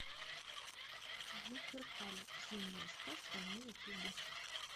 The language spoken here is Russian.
луперкаль зимняя сказка на ютубе